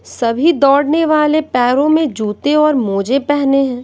सभी दौड़ने वाले पैरों में जूते और मोजे पहने हैं।